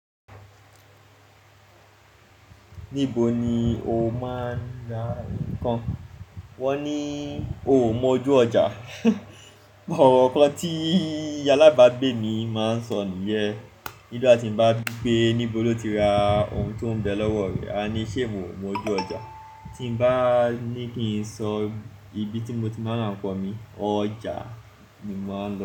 Níbo ni o máa ń ra nǹkan? Wọ́n ni o ò mọ ojú ọjà. Òrò kan tí alábàágbé mi máa ń sọ nìyẹn. Nígbà tí mo bá wí pé níbo lo ti ra ohun tó ń bẹ lọ́wọ́ rẹ, a ní ṣé mo mọ ojú ọjà? Tí mo bá ní kí n sọ ibi tí mo ti máa ń ra nǹkan mi, ọjà ni mo máa ń lo.